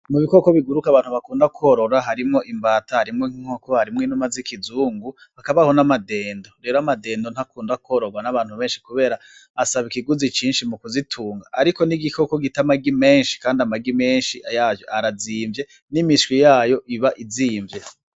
Mu bikoko biguruka abantu bakunda kwororo harimwo imbata harimwo inuma zikuzungu hakaba n'amadendo rero amadendo ntakunda kwororwa n'abantu benshi kubera asaba ikiguzi cinshi mu kizitunga , Ariko n'igikoko gita amagi menshi n'imiswi yaco iba izimvye.